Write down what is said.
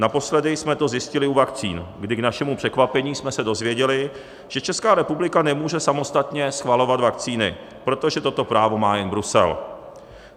Naposledy jsme to zjistili u vakcín, kdy k našemu překvapení jsme se dozvěděli, že Česká republika nemůže samostatně schvalovat vakcíny, protože toto právo má jen Brusel.